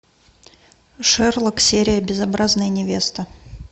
шерлок серия безобразная невеста